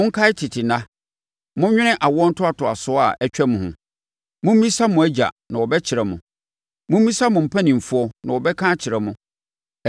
Monkae tete nna; monnwene awoɔ ntoatoasoɔ a atwam ho. Mommisa mo agya na ɔbɛkyerɛ mo. Mommisa mo mpanimfoɔ na wɔbɛka akyerɛ mo.